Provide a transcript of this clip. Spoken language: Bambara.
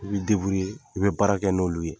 I bɛ , ye i bɛ baara kɛ n'olu ye.